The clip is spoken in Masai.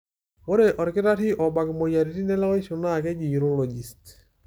Ore olkitarri obak moyiaritin elewaisho naa keji urologist.